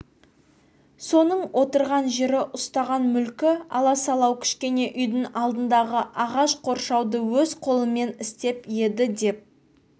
соның отырған жері ұстаған мүлкі аласалау кішкене үйдің алдындағы ағаш қоршауды өз қолымен істеп еді деп